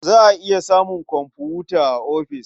Za a iya samun komfuta a ofis.